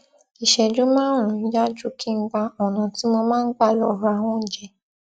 ìṣẹjú márùnún yá ju kí n gba ọnà tí mo máa n gbà lọ ra oúnjẹ